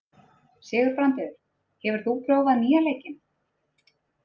Sigurbrandur, hefur þú prófað nýja leikinn?